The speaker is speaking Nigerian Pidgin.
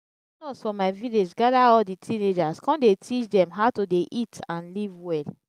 nurse for my village gather all the teenagers come dey teach dem how to dey eat and live well